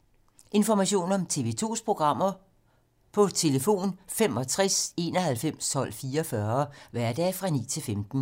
Information om TV 2's programmer: 65 91 12 44, hverdage 9-15.